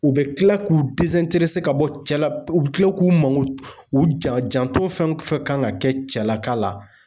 U bi kila k'u ka bɔ cɛ la u bi kila k'u mako u janto fɛn fɛn fɛ kan ka kɛ cɛlaka la.